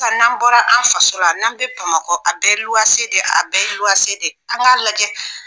N'an bɔra an faso la, n'an bɛ Bamakɔ , a bɛɛ ye luwanse de ye a bɛɛ ye luwnse de ya, an k'a lajɛ.